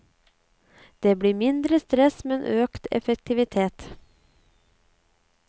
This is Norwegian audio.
Det blir mindre stress, men økt effektivitet.